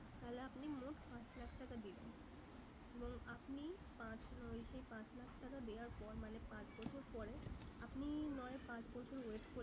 তাহলে আপনি মোট পাঁচ লাখ টাকা দিলেন। এবং আপনি পাঁচ ওই সেই পাঁচ লাখ টাকা দেওয়ার পর মানে পাঁচ বছর পরে আপনি নয় পাঁচ বছর wait করে